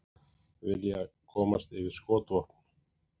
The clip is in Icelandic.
Vilja komast yfir skotvopn